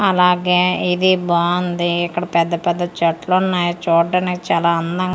అలాగే ఇది బావుంది ఇక్కడ పెద్ద పెద్ద చెట్లున్నాయ్ చూడ్డానికి చాలా అందం--